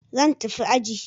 Zan tafi aji.